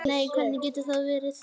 Nei, hvernig getur það verið?